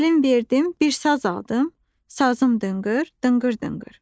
Gəlin verdim, bir saz aldım, sazım dınqır, dınqır dınqır.